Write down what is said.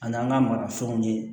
An n'an ka marafɛnw ye